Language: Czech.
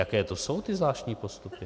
Jaké to jsou ty zvláštní postupy?